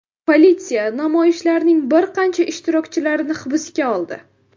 Politsiya namoyishlarning bir qancha ishtirokchilarini hibsga oldi.